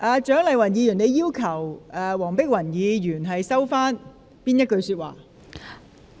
蔣議員，你要求黃碧雲議員收回哪一句說話？